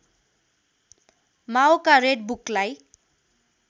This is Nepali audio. माओका रेड बुकलाई